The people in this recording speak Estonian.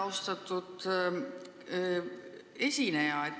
Austatud esineja!